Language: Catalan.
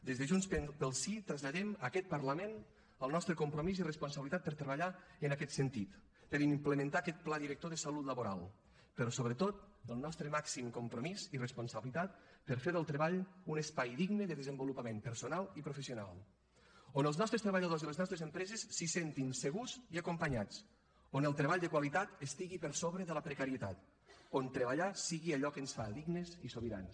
des de junts pel sí traslladem a aquest parlament el nostre compromís i responsabilitat per treballar en aquest sentit per implementar aquest pla director de salut laboral però sobretot el nostre màxim compromís i responsabilitat per fer del treball un espai digne de desenvolupament personal i professional on els nostres treballadors i les nostres empreses se sentin segurs i acompanyats on el treball de qualitat estigui per sobre de la precarietat on treballar sigui allò que ens fa dignes i sobirans